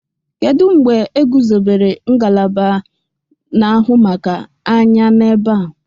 kedụ mgbe egwuzobere ngalaba na-ahụ maka anya n'ebe a?